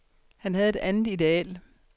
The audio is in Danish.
Han havde et andet ideal.